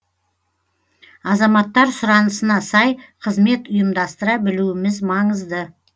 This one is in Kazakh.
азаматтар сұранысына сай қызмет ұйымдастыра білуіміз маңызды